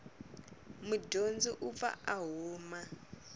mudyondzi u pfa a huma